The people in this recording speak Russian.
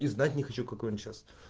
и знать не хочу какой он сейчас